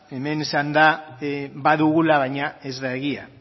hemen esan da badugula baina ez da egia